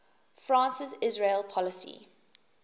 france's israel policy